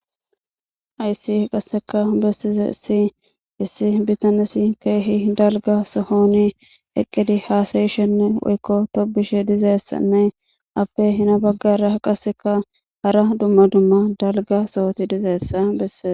Hayssi qassekka bessizayssi issi bitanezi keehi dalgga sohoni eqqidi haasayishenne woykko tobboshe dizayssanne iyappe Hina baggaara qassekka hara dumma dumma dalgga sohoti dizayssa bessees.